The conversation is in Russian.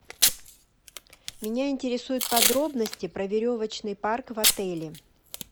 меня интересуют подробности про веревочный парк в отеле